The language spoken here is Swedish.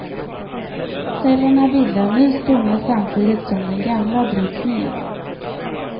Cellerna bildar ny stomme samtidigt som den gamla bryts ned.